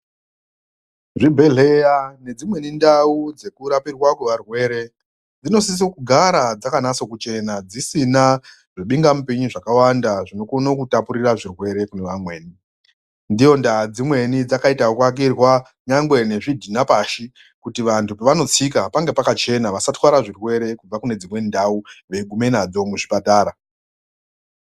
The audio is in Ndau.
Zvibhedheleya nedzimweni ndau dzekurapirwa kwearwere dzinosise kugara dzakanase kuchena dzisina zvibinga mipini zvakawanda zvinokona kutapurira zviwere kune vamweni ndoondaa dzimweni dzakaite ekuakirwa nyangwe ngezvidhina pashi kuti vantu pavanotsika pange pakachena vasatwara zvirwere kubva kunedzimweni ndau veiguma nazvo muzvipatara.